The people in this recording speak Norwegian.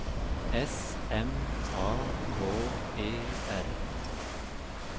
S M A K E R